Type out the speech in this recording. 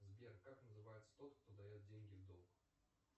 сбер как называется тот кто дает деньги в долг